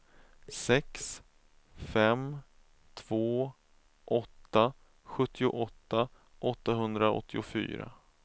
sex fem två åtta sjuttioåtta åttahundraåttiofyra